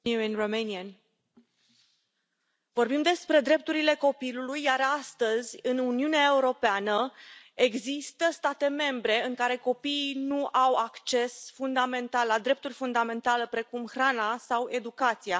Domnule Președinte, vorbim despre drepturile copilului iar astăzi în Uniunea Europeană există state membre în care copiii nu au acces fundamental la drepturi fundamentale, precum hrana sau educația.